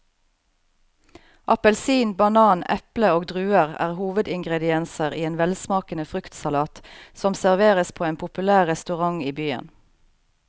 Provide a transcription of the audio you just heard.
Appelsin, banan, eple og druer er hovedingredienser i en velsmakende fruktsalat som serveres på en populær restaurant i byen.